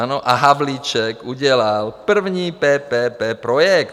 A Havlíček udělal první PPP projekt.